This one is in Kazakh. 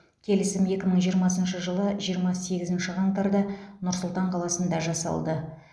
келісім екі мың жиырмасыншы жылы жиырма сегізінші қаңтарда нұр сұлтан қаласында жасалды